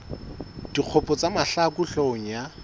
dikgopo tsa mahlaku hloohong ya